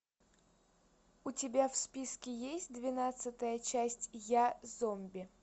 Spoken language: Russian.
у тебя в списке есть двенадцатая часть я зомби